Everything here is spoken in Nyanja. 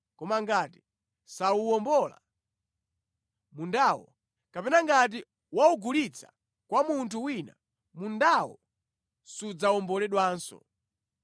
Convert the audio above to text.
Koma ngati sawuwombola mundawo, kapena ngati waugulitsa kwa munthu wina, mundawo sudzawomboledwanso.